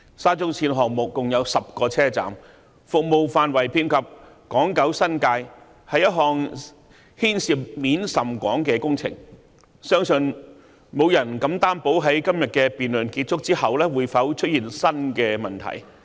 沙中線項目共有10個車站，服務範圍遍及港、九、新界，是一項牽涉面甚廣的工程，相信沒有人敢擔保在今天的辯論結束後不會出現新的問題。